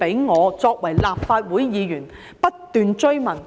我作為立法會議員不斷追問。